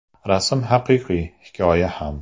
Rasm haqiqiy, hikoya ham.